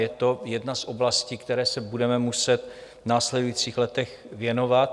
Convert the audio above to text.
Je to jedna z oblastí, které se budeme muset v následujících letech věnovat.